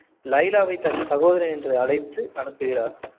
லைலாவை தன் சகோதரி என்று அழைத்து அனுப்புகிறார்